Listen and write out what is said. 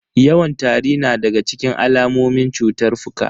Yawan tari na daga cikin alamomin cutar fuka.